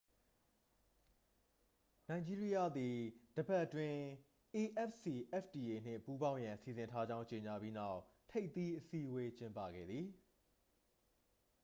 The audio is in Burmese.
နိုင်ဂျီးရီးယားသည် တစ်ပတ်အတွင်း afcfta နှင့် ပူးပေါင်းရန် စီစဉ်ထားကြောင်း ကြေညာပြီးနောက် ထိပ်သီးအစည်းအဝေး ကျင်းပခဲ့သည်